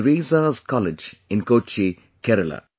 Teresa's College in Kochi, Kerala